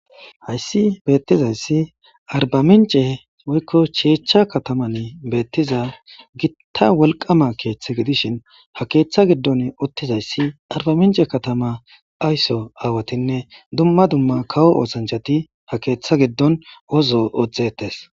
Hayssi beettizayssi arba mince woykko cheechcha kataman beettiza gitta wolqama keeththe gidishin ha keeththa giddon uttizayssi arba mince katama aysso aawatinne dumma dumma kawo oosanchati ha keeththa giddon ozo odhdzetes.